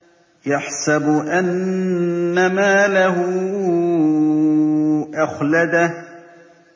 يَحْسَبُ أَنَّ مَالَهُ أَخْلَدَهُ